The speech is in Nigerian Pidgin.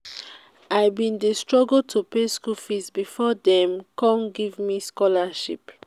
i bin dey struggle to pay skool fees before dey come give me scholarship.